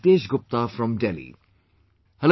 Nitesh Gupta from Delhi...